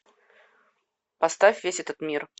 поставь весь этот мир